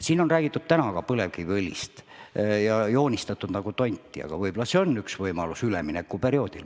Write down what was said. Siin on vahel põlevkiviõlist rääkides joonistatud nagu mingit tonti, aga võib-olla on see siiski üks võimalus üleminekuperioodil.